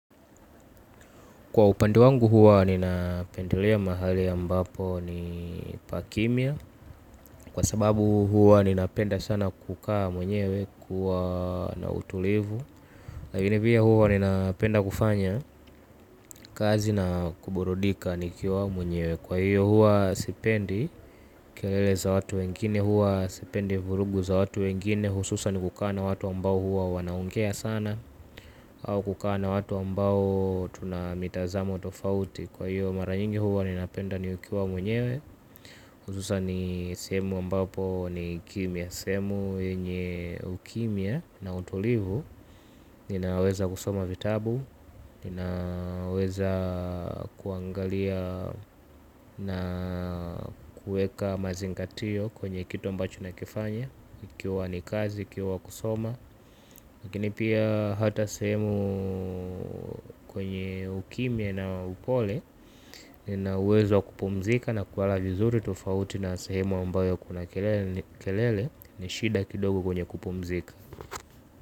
Kwa upande wangu huwa ninapendelea mahali ambapo ni pa kimya kwa sababu huwa ninapenda sana kukaa mwenyewe kuwa na utulivu na vilevile huwa ninapenda kufanya kazi na kuburudika nikiwa mwenyewe kwa hiyo huwa sipendi kilele za watu wengine huwa sipendi vurugu za watu wengine. Hususan kukaa na watu ambao huwa wanaongea sana au kukaa na watu ambao tuna mitazamo tofauti kwa hiyo mara nyingi huwa ninapenda nikiwa mwenyewe hususan ni sehemu ambapo ni kimya sehemu yenye ukimya na utulivu ninaweza kusoma vitabu ninaweza kuangalia na kueka mazingatio kwenye kitu ambacho nakifanya ikiwa ni kazi, ikiwa kusoma lakini pia hata sehemu kwenye ukimya na upole nina uwezo wa kupumzika na kulala vizuri tofauti na sehemu ambayo kuna kelele ni shida kidogo kwenye kupumzika.